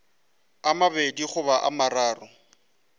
a mabedi goba a mararo